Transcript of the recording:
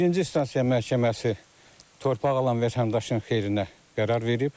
Birinci instansiya məhkəməsi torpaq alan vətəndaşın xeyrinə qərar verib.